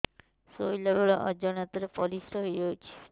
ଶୋଇଲା ବେଳେ ଅଜାଣତ ରେ ପରିସ୍ରା ହେଇଯାଉଛି